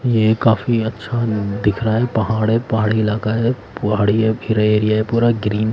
ये काफी अच्छा दिख रहा है पहाड़ है पहाड़ी इलाका है पहाड़ी है फिर एरिया है पूरा ग्रीन --